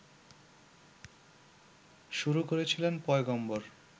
শুরু করেছিলেন পয়গম্বর